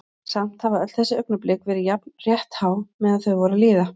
Samt hafa öll þessi augnablik verið jafn rétthá meðan þau voru að líða.